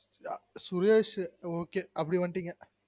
Suresh okay அப்டி வந்துடிங்க